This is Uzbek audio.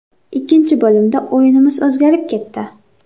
Ikkinchi bo‘limda o‘yinimiz o‘zgarib ketdi.